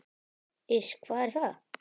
Iss, hvað er það?